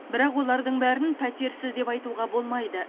бірақ олардың бәрін пәтерсіз деп айтуға болмайды